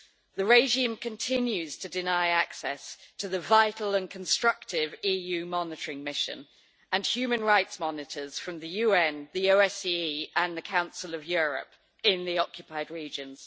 The regime continues to deny access to the vital and constructive EU monitoring mission, and human rights monitors from the UN, the OSCE and the Council of Europe, in the occupied regions.